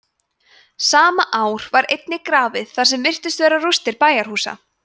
sama ár var einnig grafið þar sem virtust vera rústir bæjarhúsa